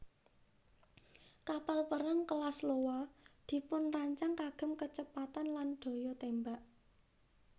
Kapal perang kelas Iowa dipunrancang kagem kecepatan lan daya tembak